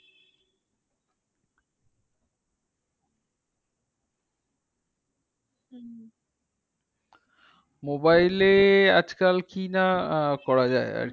mobile এ আজকাল কি না আহ করা যায় আরকি।